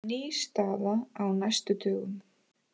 Ný staða á næstu dögum